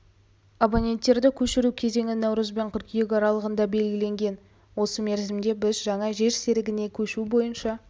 абоненттерді көшіру кезеңі наурыз бен қыркүйек аралығына белгіленген осы мерзімде біз жаңа жер серігіне көшу бойынша